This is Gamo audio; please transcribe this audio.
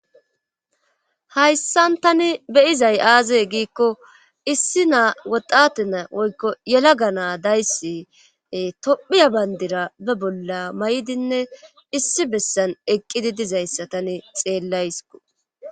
hayssan tani beyizay aaze giikko issi naa woxate na woykko yela ga naa dayssi tophiya bayndira be bolla may7dinne issi bessan eqqidi dizayssa tani xeellaysko